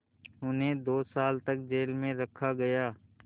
उन्हें दो साल तक जेल में रखा गया